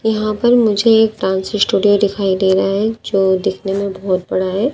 यहां पर मुझे एक ट्रांस स्टूडियो दिखाई दे रहा है जो दिखने में बहोत बड़ा है।